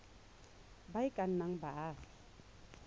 ba e ka nnang baagi